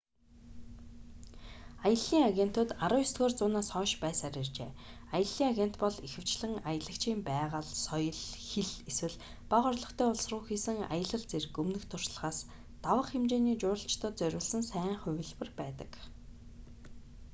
аяллын агентууд 19-р зуунаас хойш байсаар иржээ аяллын агент бол ихэвчлэн аялагчийн байгаль соёл хэл эсвэл бага орлоготой улс руу хийсэн аялал зэрэг өмнөх туршлагаас давах хэмжээний жуулчлалд зориулсан сайн хувилбар байдаг